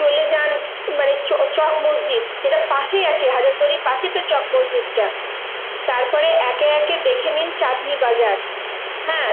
চলে যান মানে চক~ চক মসজিদ যেটা পাশেই আছে হাজারদুয়ারির পাশে তো চক মসজিদটা। তারপরে একে একে দেখে নিন চাটনি বাজার হ্যাঁ?